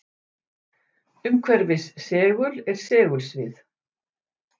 Umhverfis segul er segulsvið.